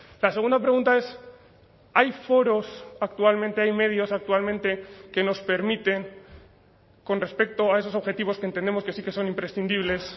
la segunda pregunta es hay foros actualmente hay medios actualmente que nos permiten con respecto a esos objetivos que entendemos que sí que son imprescindibles